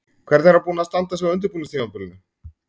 Hvernig er hann búinn að standa sig á undirbúningstímabilinu?